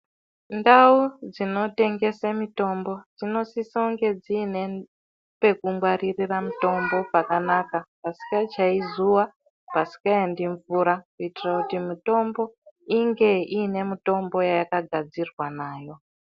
Ndau dzinotengese mutombo dzinosise kunge dziine pekungwaririra mutombo pakanaka pasikachayi zuwa pasingaendinmvura kuitire kuti mutombo inge iine mutombo yayakagarzirwa nawo.